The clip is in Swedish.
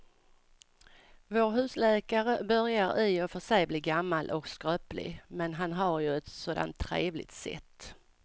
Vår husläkare börjar i och för sig bli gammal och skröplig, men han har ju ett sådant trevligt sätt!